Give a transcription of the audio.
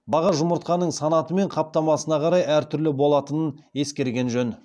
баға жұмыртқаның санаты мен қаптамасына қарай әртүрлі болатынын ескерген жөн